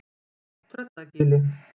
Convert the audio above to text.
Tröllagili